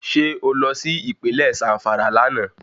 Ṣé o lọ sí Ìpínlẹ̀ Zàmfàrà lánàá